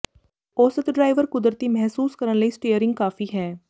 ਔਸਤ ਡਰਾਈਵਰ ਕੁਦਰਤੀ ਮਹਿਸੂਸ ਕਰਨ ਲਈ ਸਟੀਅਰਿੰਗ ਕਾਫ਼ੀ ਹੈ